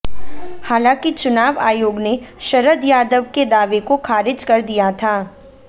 हालांकि चुनाव आयोग ने शरद यादव के दावे को खारिज कर दिया था